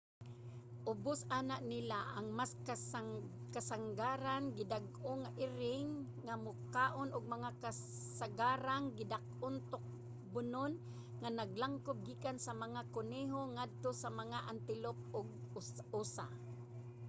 ubos ana nila ang mas kasangarang gidak-ong mga iring nga mokaon og mga kasangarang gidak-ong tukbonon nga naglangkob gikan sa mga kuneho ngadto sa mga antelope ug usa